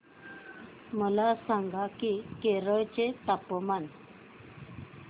मला सांगा की केरळ चे तापमान